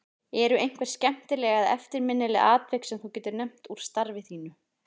Eru einhver skemmtileg eða eftirminnileg atvik sem þú getur nefnt úr starfi þínu?